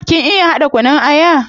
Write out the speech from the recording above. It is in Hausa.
Kin iya hada kunun aya?